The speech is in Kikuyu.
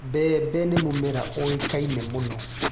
Mbembe nĩ mũmera ũĩkaine mũno.